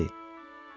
Birinci dəfə deyil.